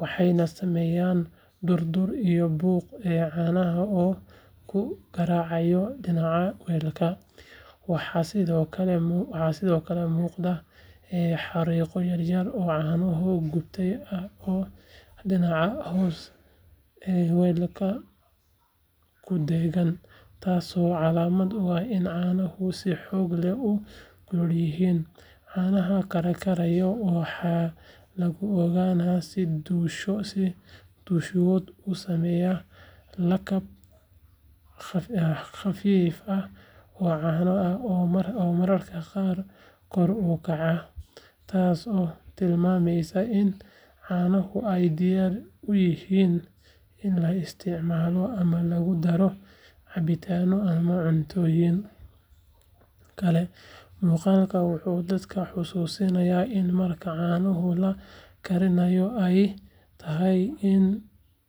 waxayna sameynayaan durdur iyo buuqa caanaha oo ku garaacaya dhinacyada weelka. Waxaa sidoo kale muuqda xariiqyo yar yar oo caano gubtay ah oo dhinaca hoose ee weelka ku dheggan, taasoo calaamad u ah in caanuhu si xoog leh u kulul yihiin. Caanaha karkaraya waxaa lagu ogaadaa in dushooda uu sameeyo lakab khafiif ah oo caano ah oo mararka qaar kor u kacaya, taasoo tilmaamaysa in caanaha ay diyaar u yihiin in la isticmaalo ama lagu daro cabitaanno ama cuntooyin kale. Muuqaalkan wuxuu dadka xasuusinayaa in marka caanaha la karinayo ay tahay in si.